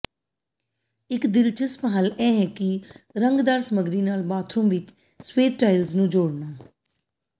ਇੱਕ ਦਿਲਚਸਪ ਹੱਲ ਇਹ ਹੈ ਕਿ ਰੰਗਦਾਰ ਸਾਮੱਗਰੀ ਨਾਲ ਬਾਥਰੂਮ ਵਿੱਚ ਸਫੈਦ ਟਾਇਲਸ ਨੂੰ ਜੋੜਨਾ